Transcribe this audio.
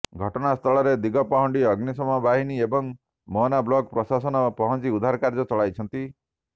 ଘଟଣାସ୍ଥଳରେ ଦିଗପହଣ୍ଡି ଅଗ୍ନିଶମ ବାହିନୀ ଏବଂ ମୋହନା ବ୍ଲକ୍ ପ୍ରଶାସନ ପହଞ୍ଚି ଉଦ୍ଧାର କାର୍ଯ୍ୟ ଚଳାଇଛନ୍ତି